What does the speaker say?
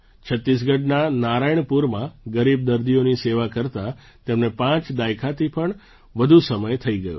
છત્તીસગઢના નારાયણપુરમાં ગરીબ દર્દીઓની સેવા કરતા તેમને પાંચ દાયકાથી પણ વધુ સમય થઈ ગયો છે